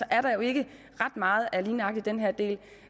at der jo ikke er ret meget af lige nøjagtig den her del